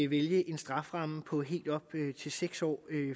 vælge en strafferamme på helt op til seks år